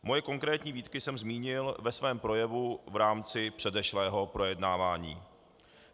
Moje konkrétní výtky jsem zmínil ve svém projevu v rámci předešlého projednávání.